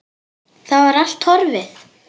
Það var allt horfið!